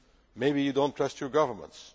Maybe you do not trust your governments.